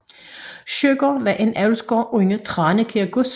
Søgaard var en avlsgård under Tranekær Gods